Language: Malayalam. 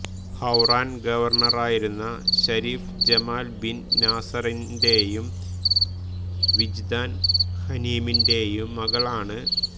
ഹൌറാൻ ഗവർണറായിരുന്ന ശരീഫ് ജമാൽ ബിൻ നാസറിന്റെയും വിജ്ദാൻ ഹനീമിന്റെയും മകളാണ്